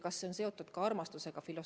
Kas see on seotud armastusega?